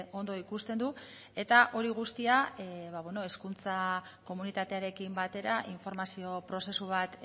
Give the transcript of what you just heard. ondo ikusten du eta hori guztia hezkuntza komunitatearekin batera informazio prozesu bat